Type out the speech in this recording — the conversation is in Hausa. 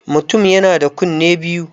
Mutum yana da kunne biyu.